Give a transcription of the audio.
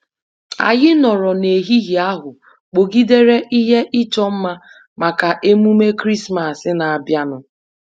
Anyị nọrọ n'ehihie ahụ kpọgidere ihe ịchọ mma maka emume Krismas na-abịanụ.